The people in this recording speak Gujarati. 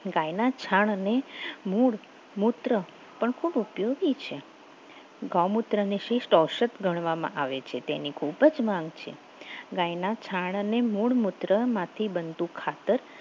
ગાયના છાણ અને મૂળ મૂત્ર પણ ખૂબ ઉપયોગી છે ગૌમુત્રને શિષ્ટ ઔષધ ગણવામાં આવે છે તેને ખૂબ જ માંગ છે ગાયના છાણ અને મૂળ મૂત્રામાંથી બનતું ખાતર